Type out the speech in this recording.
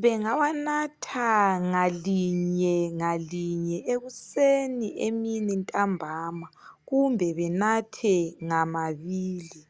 Bengawanatha ngalinye ngalinye ekuseni emini ntambama kumbe benathe ngmaabili.